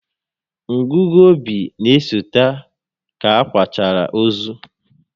Ngụgụ obi n'esote ka a kwachara ozu